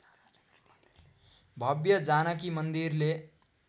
भव्य जानकी मन्दिरले